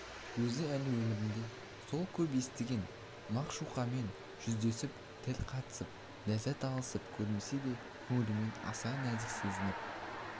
өзі әлі өмірінде сол көп естіген мағшуқамен жүздесіп тіл қатысып ләззат алысып көрмесе де көңілімен аса нәзік сезініп